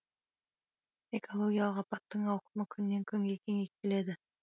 экологиялық апаттың ауқымы күннен күнге кеңейіп келеді